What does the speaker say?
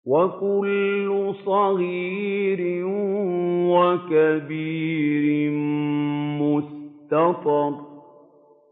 وَكُلُّ صَغِيرٍ وَكَبِيرٍ مُّسْتَطَرٌ